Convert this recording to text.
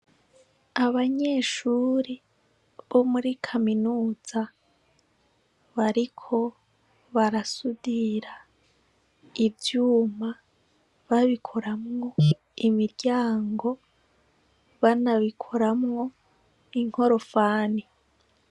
Abanyeshure bo muri kaminuza bariko barasudir' ivyuma babikuramw' imiryango , banabikoramw' inkorofani.